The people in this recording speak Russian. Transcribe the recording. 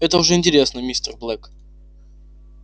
это уже интересно мистер блэк